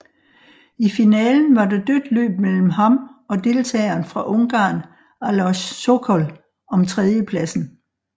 I finalen var der dødt løb mellem ham og deltageren fra Ungarn Alojz Sokol om tredjepladsen